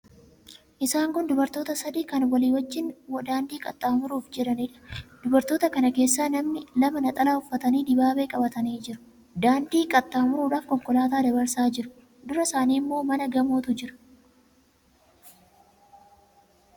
Isaan kun dubartoota sadii kan walii wajjin daandii qaxxaamuruuf jedhaniidha. Dubartoota kana keessaa namni lama 'naxalaa' uffatanii dibaabee qabatanii jiru. Daandii qaxxaamuruudhaaf konkolaataa dabarsaa jiru. Dura isaanii immoo mana gamootu jira.